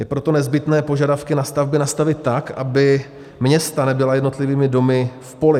Je proto nezbytné požadavky na stavby nastavit tak, aby města nebyla jednotlivými domy v poli.